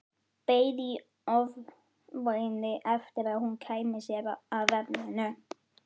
Beið í ofvæni eftir að hún kæmi sér að efninu.